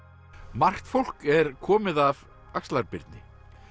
margt fólk er komið af axlar Birni